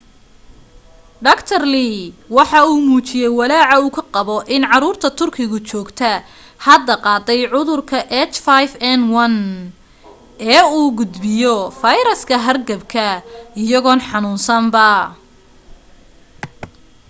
dr. lee waxa uu muujiyay walaaca uu ka qabo in caruurta turkiga joogta hadda qaaday cudurka h5n1 ee uu gudbiyo fayraska hargabku iyagoon xanuunsanba